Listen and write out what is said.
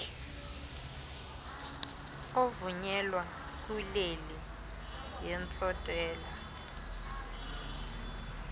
ovunyelwa kwileli yentsontela